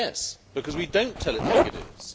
Yes, because we do not tell it like it is.